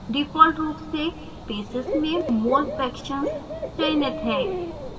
default रूप से basis में mole fractions ही चयनित है